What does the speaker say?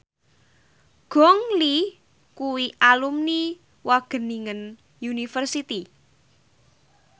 Gong Li kuwi alumni Wageningen University